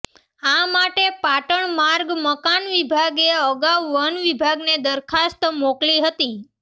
આ માટે પાટણ માર્ગ મકાન વિભાગે અગાઉ વન વિભાગને દરખાસ્ત મોકલી હતી